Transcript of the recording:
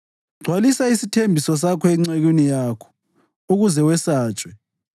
Gcwalisa isithembiso sakho encekwini yakho, ukuze wesatshwe.